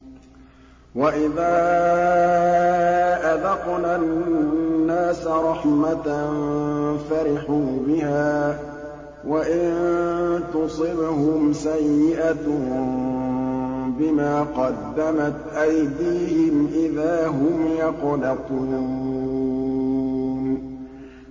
وَإِذَا أَذَقْنَا النَّاسَ رَحْمَةً فَرِحُوا بِهَا ۖ وَإِن تُصِبْهُمْ سَيِّئَةٌ بِمَا قَدَّمَتْ أَيْدِيهِمْ إِذَا هُمْ يَقْنَطُونَ